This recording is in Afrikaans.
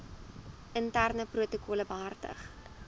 interne protokolle behartig